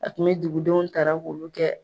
A kun mɛ dugudenw tara k'olu kɛ